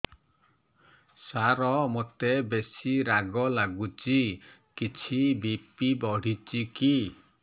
ସାର ମୋତେ ବେସି ରାଗ ଲାଗୁଚି କିଛି ବି.ପି ବଢ଼ିଚି କି